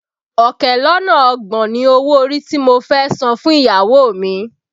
Ọ̀kẹ́ lọ́nà ọgbọ̀n ni owó orí tí mo fẹ́ san fún ìyàwó mi